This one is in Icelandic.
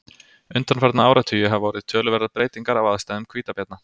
Undanfarna áratugi hafa orðið töluverðar breytingar á aðstæðum hvítabjarna.